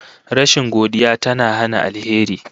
Rashin godiya tana hana alheri